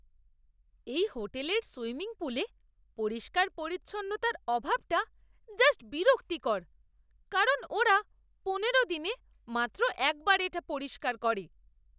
এই হোটেলের সুইমিং পুলে পরিষ্কার পরিচ্ছন্নতার অভাবটা জাস্ট বিরক্তিকর কারণ ওরা পনেরো দিনে মাত্র একবার এটা পরিষ্কার করে